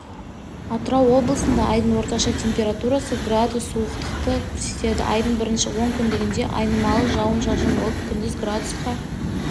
атырау облысында айдың орташа температурасы градус суықтықты көрсетеді айдың бірінші онкүндігінде айнымалы жауын-шашын болып күндіз градусқа